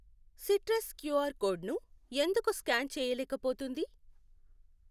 Citrus QR కోడ్ను ఎందుకు scan చేయలేకపోతుంది?